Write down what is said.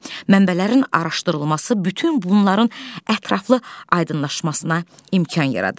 Mənbələrin araşdırılması bütün bunların ətraflı aydınlaşmasına imkan yaradır.